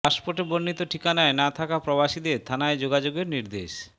পাসপোর্টে বর্ণিত ঠিকানায় না থাকা প্রবাসীদের থানায় যোগাযোগের নির্দেশ